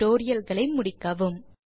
டுடோரியல்களை முடிக்க வேண்டும்